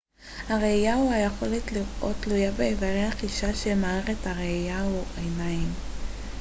הראייה או היכולת לראות תלויה באיברי החישה של מערכת הראייה או העיניים